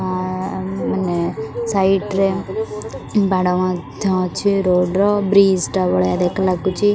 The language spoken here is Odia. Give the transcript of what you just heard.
ଆ ----ମାନେ ସାଇଡ୍‌ ରେ ବାଡ ମଧ୍ୟ ଅଛି ରୋଡ୍‌ ର ବ୍ରିଜ ଟା ଭଳିଆ ଦେ ଲାଗୁଛି।